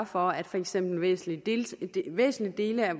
for at for eksempel væsentlige dele væsentlige dele af